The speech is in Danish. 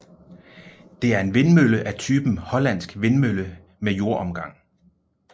Det er en vindmølle af typen Hollandsk vindmølle med jordomgang